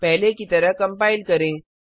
पहले की तरह कंपाइल करें